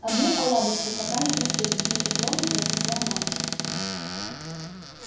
одну оладушку пока не простыли непреклонно произнесла мамушка